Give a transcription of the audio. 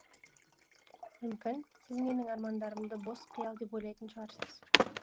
мүмкін сіз менің армандарымды бос қиял деп ойлайтын шығарсыз